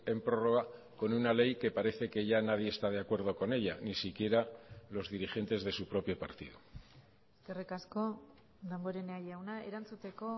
en prórroga con una ley que parece que ya nadie está de acuerdo con ella ni si quiera los dirigentes de su propio partido eskerrik asko damborenea jauna erantzuteko